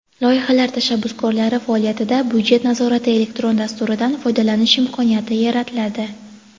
Loyihalar tashabbuskorlari faoliyatida "Byudjet nazorati" elektron dasturidan foydalanish imkoniyati yaratiladi.